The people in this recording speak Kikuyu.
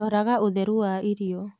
Roraga ũtheru wa irio.